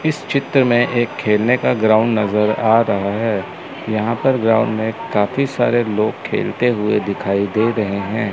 इस चित्र में एक खेलने का ग्राउंड नजर आ रहा है यहां पर ग्राउंड में काफी सारे लोग खेलते हुए दिखाई दे रहे हैं।